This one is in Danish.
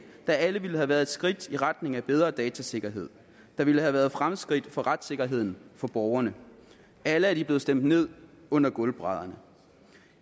der alle ville have været et skridt i retning af bedre datasikkerhed og ville have været fremskridt for retssikkerheden for borgerne alle er de blevet stemt ned under gulvbrædderne